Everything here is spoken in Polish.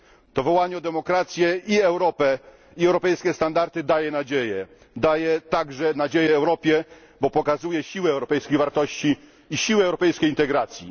To wołanie o demokrację i Europę, i europejskie standardy daje nadzieję, daje także nadzieję Europie, bo pokazuje siłę europejskich wartości i siłę europejskiej demokracji.